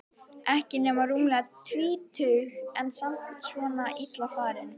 Ekki nema rúmlega tvítug en samt svona illa farin.